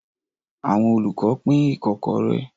Àwọn olùkọ́ pín ikokore.